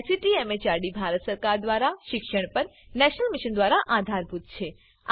જેને ICT MHRD Bharat સરકાર મારફતે શિક્ષણ પર નેશનલ મિશન દ્વારા આધાર અપાયેલ છે